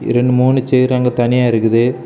இரண்டு மூனு சேர் அங்கு தனியா இருக்குது.